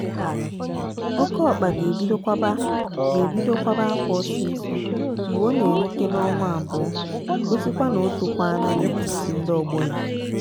oke ọkpa ga-ebido kwaba ga-ebido kwaba akwa ọsịsọ mgbe ọ na-erute n'ọnwa abụọ gosi kwa na o tokwana na etíti ndị ọgbọ ya.